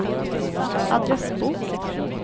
adressbok